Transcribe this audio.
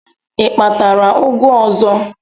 I kpatara ụgụ ọzọ?